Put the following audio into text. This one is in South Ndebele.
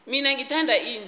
mina ngithanda inja